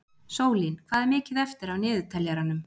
Sólín, hvað er mikið eftir af niðurteljaranum?